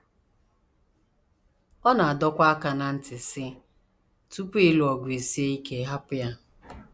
Ọ na - adọkwa aka ná ntị, sị: “ Tupu ịlụ ọgụ esie ike hapụ ya. ”